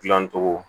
Dilancogo